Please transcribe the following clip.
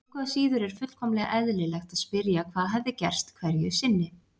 Engu að síður er fullkomlega eðlilegt að spyrja hvað hefði gerst hverju sinni.